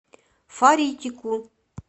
фаритику